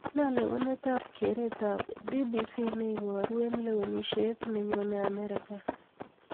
nee lewener ab keret ab b.b.c neiboru en kewenisiet nenyoneen amerika